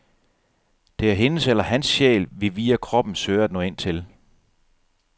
Det er hendes eller hans sjæl, vi via kroppen søger at nå ind til.